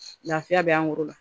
Lafiya bɛ an bolo